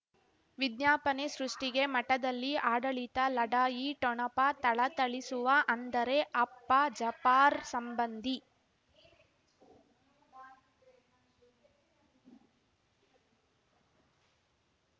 ವಿಜ್ಞಾಪನೆ ಸೃಷ್ಟಿಗೆ ಮಠದಲ್ಲಿ ಆಡಳಿತ ಲಢಾಯಿ ಠೊಣಪ ಥಳಥಳಿಸುವ ಅಂದರೆ ಅಪ್ಪ ಜಪಾರ್ ಸಂಬಂಧಿ